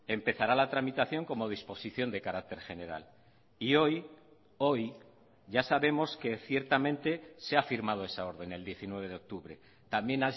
empezará la tramitación como disposición de carácter general y hoy hoy ya sabemos que ciertamente se ha firmado esa orden el diecinueve de octubre también